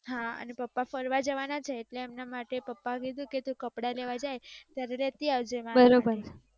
હા પપ્પા ફરવા જવાના છે એટલે એમના માટે પપ્પા કહે છે કે તુ કપડા લેવા જાય ત્યારે લેતી આવજે મારા માટે.